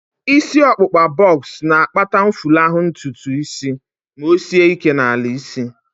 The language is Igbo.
Isi ọkpụkpa bọks na-akpata mfulahu ntutu isi ma o sie ike n'ala isi